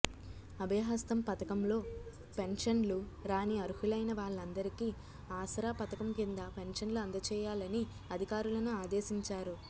అభయ హస్తం పథకంలో పెన్షన్లు రాని అర్హులైన వాళ్ళందరికి ఆసరా పథకం కింద పెన్షన్లు అందచేయాలని అధికారులను ఆదేశించారు